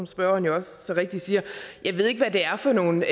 spørgeren jo også så rigtigt siger jeg ved ikke hvad det er for nogle